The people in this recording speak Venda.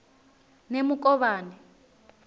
nemukovhani